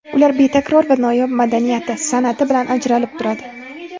Ular betakror va noyob madaniyati, san’ati bilan ajratilib turadi.